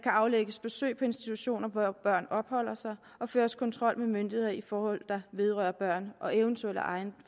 aflægges besøg på institutioner hvor børn opholder sig og føres kontrol med myndigheder i forhold der vedrører børn og eventuelt af egen